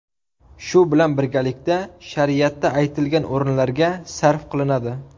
Shu bilan birgalikda shariatda aytilgan o‘rinlarga sarf qilinadi.